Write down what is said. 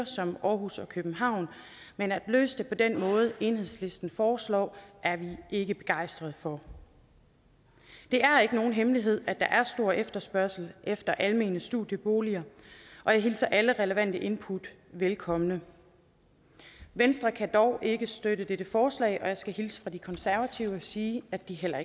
som aarhus og københavn men at løse det på den måde enhedslisten foreslår er vi ikke begejstrede for det er ikke nogen hemmelighed at der er stor efterspørgsel efter almene studieboliger og jeg hilser alle relevante input velkommen venstre kan dog ikke støtte dette forslag og jeg skal hilse fra de konservative og sige at de heller